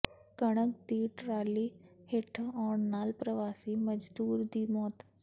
ਕਣਕ ਦੀ ਟਰਾਲੀ ਹੇਠਾਂ ਆਉਣ ਨਾਲ ਪ੍ਰਵਾਸੀ ਮਜਦੂਰ ਦੀ ਮੌਤ